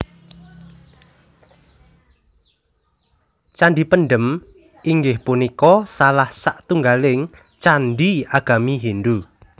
Candhi Pendhem inggih punika salah satunggaling candhi agami Hindhu